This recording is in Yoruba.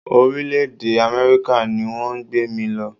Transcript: Orílẹ̀-èdè Amẹ́ríkà ni wọ́n gbé mí lọ.